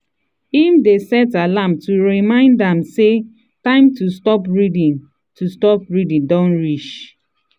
him dey set alarm to remind am say time to stop reading to stop reading don reach.